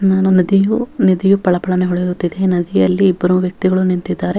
ನದಿಯು ನಿಧಿಯು ಪಳಪಳನೆ ಹೊಳೆಯುತ್ತಿದೆ ನದಿಯಲ್ಲಿ ಇಬ್ಬರು ವ್ಯಕ್ತಿಗಳು ನಿಂತಿದ್ದಾರೆ.